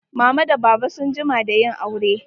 Mama da baba sun jima da yin aure.